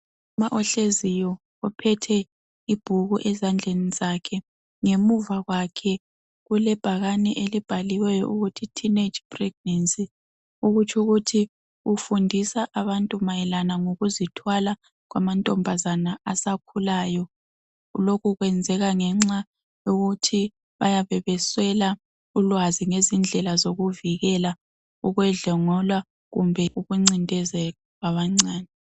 Umama ohleziyo ophethe ibhuku ezandleni zakhe , ngemuva kwakhe kulebhakane elibhaliweyo ukuthi teenage pregnancy okutsho ukuthi ufundisa abantu mayelana ngokuzithwala kwamantombazana asakhulayo , lokhu kwenzeka ngenxa yokuthi bayabe beswela ulwazi ngezindlela zokuvikela ukwedlengulwa kumbe ukuncindezelwa kwabancane